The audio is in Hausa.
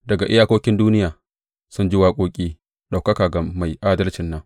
Daga iyakokin duniya mun ji waƙoƙi, Ɗaukaka ga Mai Adalcin nan.